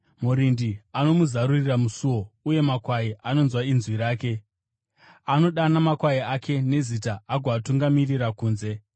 Murindi anomuzarurira musuo, uye makwai anonzwa inzwi rake. Anodana makwai ake nezita agoatungamirira kunze.